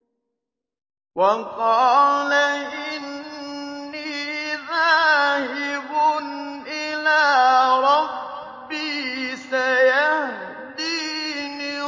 وَقَالَ إِنِّي ذَاهِبٌ إِلَىٰ رَبِّي سَيَهْدِينِ